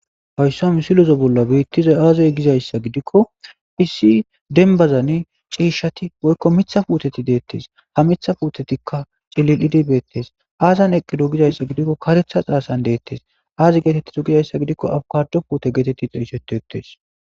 Haysa misileza beetizayi aze gizaysa gidikoni issi dembazin ciishati woyko Mitha puuteti detesi, ha Mitha puutetika cililidi beetesi,azani eqido gizaysa gidikoni karetha xasani detesi, azi getetizo gizaysa gidikon abokado puute geteti xeysetetesi.